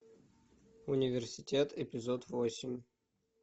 университет эпизод восемь